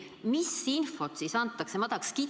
Aga mis infot siis antakse?